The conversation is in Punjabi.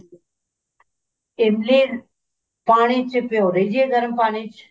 ਇਮਲੀ ਪਾਣੀ ਚ ਭਿਓਂ ਦਾਈ ਦੀ ਗਰਮ ਪਾਣੀ ਚ